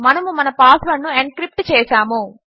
మనము మన పాస్వర్డ్ను ఎన్క్రిప్ట్ చేసాము